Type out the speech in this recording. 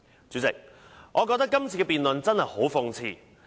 主席，我覺得今次的辯論真的很諷刺。